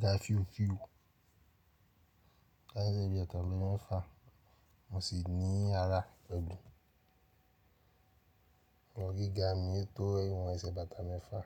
ga fíu fíu. Láìpẹ́ bí i ọ̀tọ̀ ọdún mẹ́fa, mo sì ní ara ọ̀gbìn. Ìwọ̀n gíga mi yóò tó ìwọ̀n ẹsẹ̀ bàtà mẹ́fa.